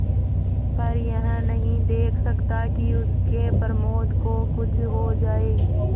पर यह नहीं देख सकता कि उसके प्रमोद को कुछ हो जाए